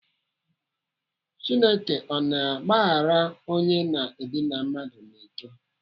Chineke ọ na-agbahara onye na-edịna mmadụ n'ike?